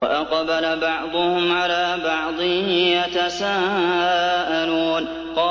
وَأَقْبَلَ بَعْضُهُمْ عَلَىٰ بَعْضٍ يَتَسَاءَلُونَ